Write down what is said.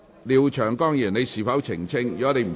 廖長江議員，你是否想澄清？